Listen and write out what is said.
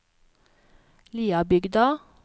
Liabygda